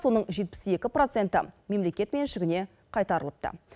соның жетпіс екі проценті мемлекет меншігіне қайтарылыпты